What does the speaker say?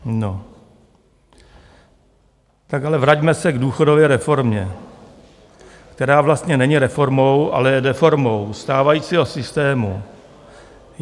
Tak ale vraťme se k důchodové reformě, která vlastně není reformou, ale je deformou stávajícího systému.